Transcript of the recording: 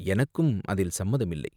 எனக்கும் அதில் சம்மதமில்லை.